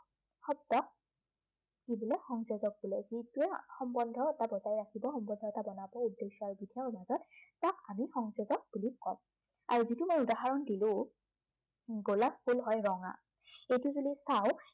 কি বোলে সংযোজক বোলে। যিটোৱে সম্বন্ধ এটা বৰ্তাই ৰাখিব, সম্বন্ধ এটা জনাব তাক আমি উদ্দেশ্য় আৰু বিধেয়ৰ মাজত তাক আমি সংযোজক বুলি কও। আৰু যিটো মই উদাহৰণ দিলো গোলাপ ফুল হয় ৰঙা। সেইটোলৈ যদি চাও